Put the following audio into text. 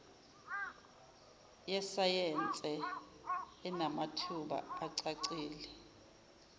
yesayense enamathuba acacile